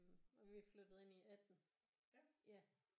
Og vi flyttede ind i 18 ja